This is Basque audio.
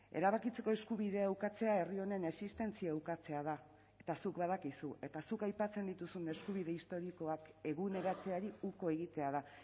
erabakitzeko eskubidea ukatzea herri honen existentzia ukatzea da eta zuk badakizu eta zuk aipatzen dituzun eskubide historikoak eguneratzeari uko egitea da